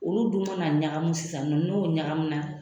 Olu dun mana na ɲagamu sisannɔ n'o ɲagamu na.